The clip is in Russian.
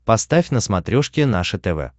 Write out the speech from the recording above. поставь на смотрешке наше тв